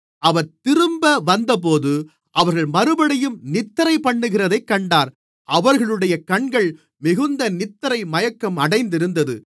அவர் திரும்ப வந்தபோது அவர்கள் மறுபடியும் நித்திரைபண்ணுகிறதைக் கண்டார் அவர்களுடைய கண்கள் மிகுந்த நித்திரைமயக்கம் அடைந்திருந்தது